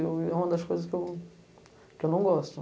É uma das coisas que eu não gosto.